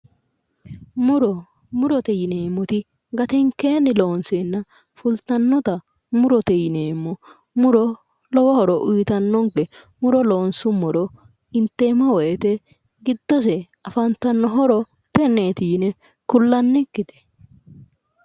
Muro Murote yineemmoti gatenkeenni loonseenna fultannota murote yineemmo muro lowo horo uyitannonke muro loonsummoro inteemmo woyite giddose afantanno horo tenneeti yine kullannikkite